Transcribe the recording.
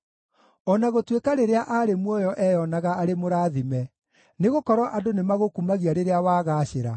O na gũtuĩka rĩrĩa aarĩ muoyo eyoonaga arĩ mũrathime, nĩgũkorwo andũ nĩmagũkumagia rĩrĩa wagaacĩra,